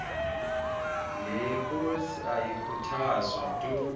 leeposi ayikhuthazwa tu